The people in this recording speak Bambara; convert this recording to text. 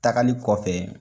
Takali kɔfɛ